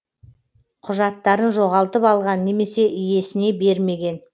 құжаттарын жоғалтып алған немесе иесіне бермеген